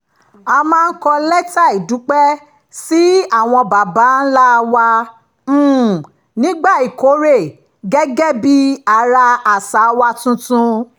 a máa ń kọ lẹ́tà ìdúpẹ́ sí àwọn baba ńlá wa um nígbà ìkórè gẹ́gẹ́ bí ara àṣà wa tuntun